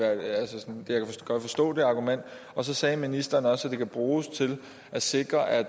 godt forstå det argument så sagde ministeren også at det kan bruges til at sikre at